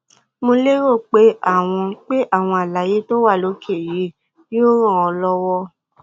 mo lérò pé àwọn pé àwọn àlàyé tó wà lókè yìí yóò ràn ọ lọwọ